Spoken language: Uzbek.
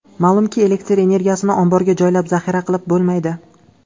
Ma’lumki, elektr energiyasini omborga joylab, zaxira qilib bo‘lmaydi.